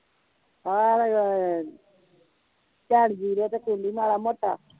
ਭੈਣ ਵੀਰੋ ਤੇ ਕੂਦੀ ਮਾੜਾ ਮੋਟਾ